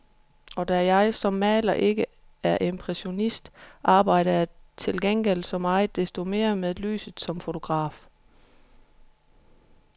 Og da jeg som maler ikke er impressionist, arbejder jeg til gengæld så meget desto mere med lyset som fotograf.